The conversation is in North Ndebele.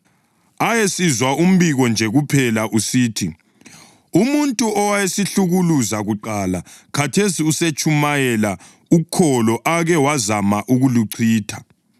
Ayesizwa umbiko nje kuphela usithi: “Umuntu owayesihlukuluza kuqala khathesi usetshumayela ukholo ake wazama ukuluchitha.”